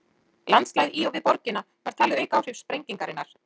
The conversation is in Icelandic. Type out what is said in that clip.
Landslagið í og við borgina var talið auka áhrif sprengingarinnar.